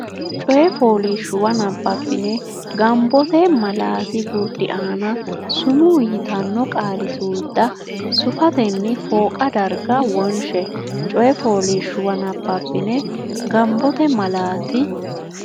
coy fooliishshuwa nabbabbine gombote malaati gurdi aana sumuu yitanno qaali suudda sufatenni fooqa darga wonshe coy fooliishshuwa nabbabbine gombote malaati.